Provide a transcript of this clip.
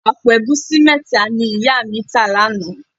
Àpò ẹ̀gúsí mẹ́ta ni ìyá mi tà lánàá